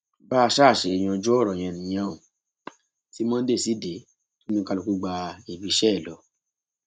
bá a ṣáà ṣe yanjú ọrọ yẹn nìyẹn ò ti monday sì dé tí oníkálùkù gba ibiiṣẹ ẹ lọ